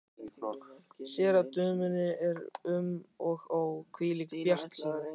Sér að dömunni er um og ó, hvílík bjartsýni!